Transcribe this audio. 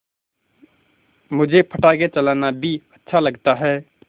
मुझे पटाखे चलाना भी अच्छा लगता है